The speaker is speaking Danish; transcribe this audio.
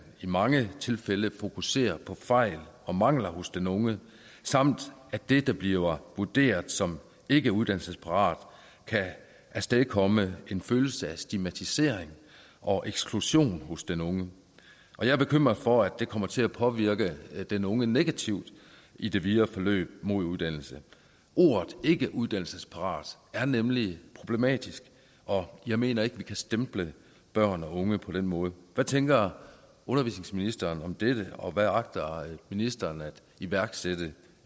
i mange tilfælde fokuserer på fejl og mangler hos den unge samt at det der bliver vurderet som ikkeuddannelsesparat kan afstedkomme en følelse af stigmatisering og eksklusion hos den unge og jeg er bekymret for at det kommer til at påvirke den unge negativt i det videre forløb mod uddannelse ordet ikkeuddannelsesparat er nemlig problematisk og jeg mener ikke vi kan stemple børn og unge på den måde hvad tænker undervisningsministeren om dette og hvad agter ministeren at iværksætte